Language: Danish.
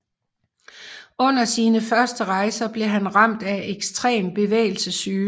Under sine første rejser blev han ramt af ekstrem bevægelsessyge